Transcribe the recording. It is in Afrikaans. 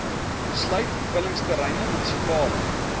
sluit vullingsterreine munisipale